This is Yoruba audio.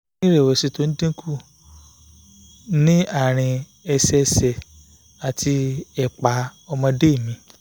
mo ti ní ìrẹ̀wẹ̀sì tó dín kù ní àárín ẹ̀sẹẹsẹ̀ àti ẹ̀pá ọmọdé mi